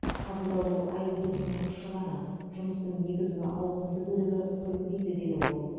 қабылдау бұл айсбергтің ұшы ғана жұмыстың негізгі ауқымды бөлігі көрінбейді деді ол